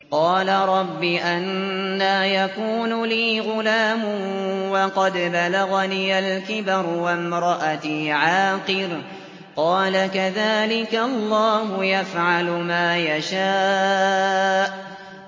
قَالَ رَبِّ أَنَّىٰ يَكُونُ لِي غُلَامٌ وَقَدْ بَلَغَنِيَ الْكِبَرُ وَامْرَأَتِي عَاقِرٌ ۖ قَالَ كَذَٰلِكَ اللَّهُ يَفْعَلُ مَا يَشَاءُ